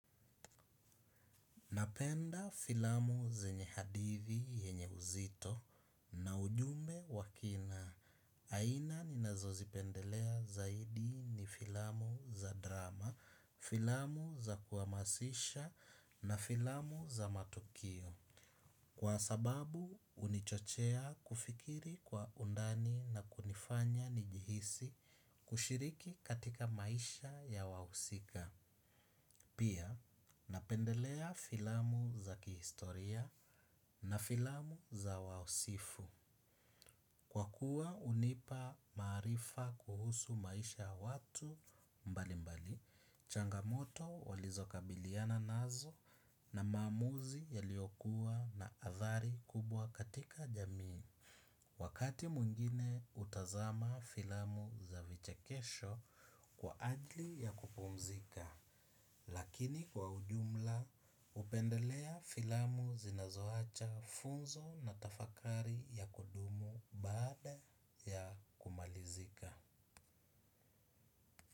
Napenda filamu zenye hadithi yenye uzito na ujumbe wa kina. Aina ninazozipendelea zaidi ni filamu za drama, filamu za kuhamasisha na filamu za matukio. Kwa sababu hunichochea kufikiri kwa undani na kunifanya nijihisi kushiriki katika maisha ya wahusika. Pia napendelea filamu za kihistoria na filamu za wausifu. Kwa kuwa hunipa maarifa kuhusu maisha ya watu mbali mbali, changamoto walizokabiliana nazo na maamuzi yaliyokuwa na athari kubwa katika jamii. Wakati mwingine hutazama filamu za vichekesho kwa ajli ya kupumzika. Lakini kwa ujumla hupendelea filamu zinazoacha funzo na tafakari ya kudumu baada ya kumalizika.